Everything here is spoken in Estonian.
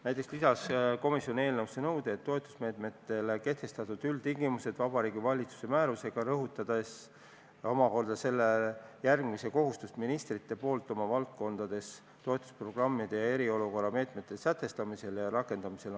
Näiteks lisas komisjon eelnõusse nõude, et toetusmeetmetele kehtestatakse üldtingimused Vabariigi Valitsuse määrusega, rõhutades selle järgimise kohustust ministrite poolt oma valdkondades toetusprogrammide ja eriolukorra meetmete sätestamisel ja rakendamisel.